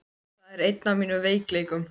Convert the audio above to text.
Það er einn af mínum veikleikum.